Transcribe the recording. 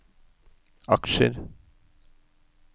aksjer